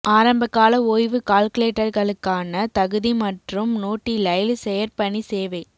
ஆரம்பகால ஓய்வு கால்குலேட்டர்களுக்கான தகுதி மற்றும் நோட்டிலைல் செயற் பணி சேவை